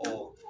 Ɔ